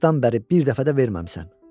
O vaxtdan bəri bir dəfə də verməmisən.